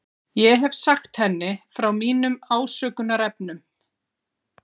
Ég hef sagt henni frá mínum ásökunarefnum.